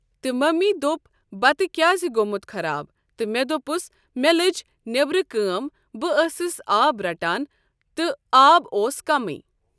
تہٕ مٔمی دوٚپ بَتہٕ کیٚازِ گوٚمُت خراب تہٕ مےٚ دوٚپُس مےٚ لٔجۍ نیٚبرٕ کٲم بہٕ ٲسٕس آب رَٹان تہٕ آب اوس کَمٕے۔